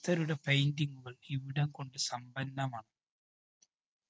സ്തരുടെ painting കള്‍ ഇവിടം കൊണ്ട് സമ്പന്നമാണ്.